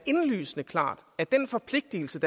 nødt til